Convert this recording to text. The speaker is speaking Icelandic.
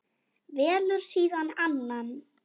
Velur síðan annan.